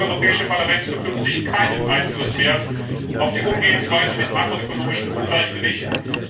Damit hat das Europäische Parlament zukünftig keinen Einfluss mehr auf die Umgehensweise mit makroökonomischen Ungleichgewichten.